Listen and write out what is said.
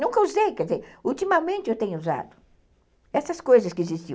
Nunca usei, quer dizer, ultimamente eu tenho usado essas coisas que existiam.